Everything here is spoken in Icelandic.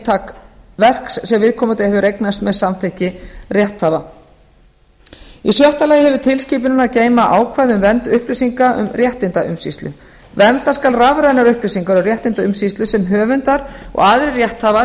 eintak verks sem viðkomandi hefur eignast með samþykki rétthafa í sjötta lagi hefur tilskipunin að geyma ákvæði um vernd upplýsinga um réttindaumsýslu vernda skal rafrænar upplýsingar um réttindaumsýslu sem höfundar og aðrir rétthafar